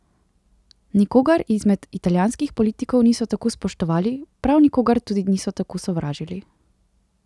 Nikogar izmed italijanskih politikov niso tako spoštovali, prav nikogar tudi niso tako sovražili.